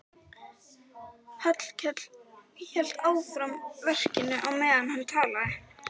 Hallkell hélt áfram verkinu á meðan hann talaði.